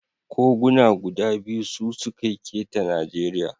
Koguna guda biyu su suke keta Najeriya.